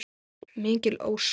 Mikil ósköp.